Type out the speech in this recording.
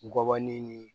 Gɔbɔni ni